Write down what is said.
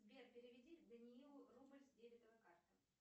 сбер переведи даниилу рубль с дебетовой карты